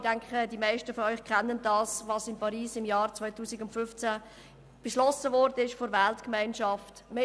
Ich denke, die meisten von Ihnen wissen, was im Pariser Klimaschutz im Jahr 2015 von der Weltgemeinschaft beschlossen wurde.